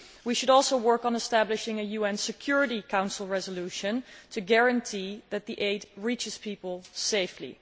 We should also work on establishing a UN Security Council resolution to guarantee that the aid reaches people safely.